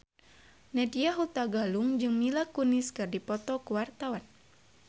Nadya Hutagalung jeung Mila Kunis keur dipoto ku wartawan